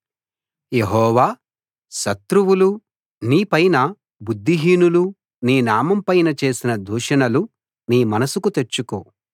యెహోవా శత్రువులు నీపైనా బుద్ధిహీనులు నీ నామంపైనా చేసిన దూషణలు నీ మనసుకు తెచ్చుకో